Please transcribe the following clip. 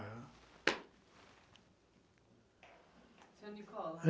Senhor Nicole,